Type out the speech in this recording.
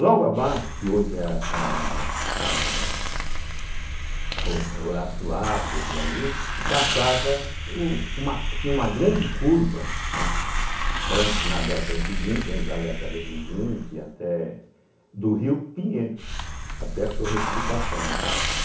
Logo abaixo, que hoje é a a a Horácio Lafer por ali, passava o uma tinha uma grande curva, né, antes na década de vinte, antes da década de vinte até do rio Pinheiros até a sua retificação, né.